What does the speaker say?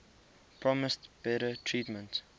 promised better treatment